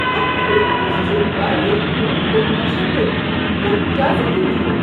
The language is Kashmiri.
اتھ کھیلہ منٛز چھ واریاہ خوٗن تہٕ تشدُد ۔ کانٛہہ کیٛازِ گنٛدِ یہِ؟